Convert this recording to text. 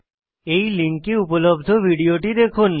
এই লিঙ্কে উপলব্ধ ভিডিওটি দেখুন